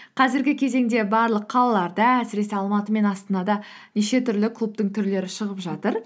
қазіргі кезеңде барлық қалаларда әсіресе алматы мен астанада неше түрлі клубтың түрлері шығып жатыр